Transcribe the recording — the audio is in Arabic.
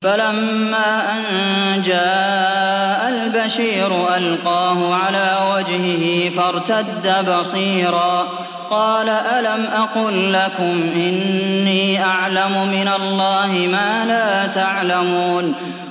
فَلَمَّا أَن جَاءَ الْبَشِيرُ أَلْقَاهُ عَلَىٰ وَجْهِهِ فَارْتَدَّ بَصِيرًا ۖ قَالَ أَلَمْ أَقُل لَّكُمْ إِنِّي أَعْلَمُ مِنَ اللَّهِ مَا لَا تَعْلَمُونَ